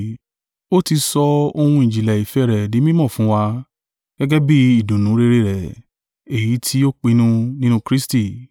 Ó ti sọ ohun ìjìnlẹ̀ ìfẹ́ rẹ̀ di mí mọ̀ fún wa gẹ́gẹ́ bí ìdùnnú rere rẹ̀, èyí ti o pinnu nínú Kristi,